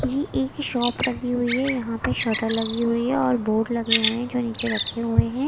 ये एक शॉप लगी हुई है यहां पे शटर लगी हुई है और बोर्ड लगे हुए हैं जो नीचे रखे हुए हैं।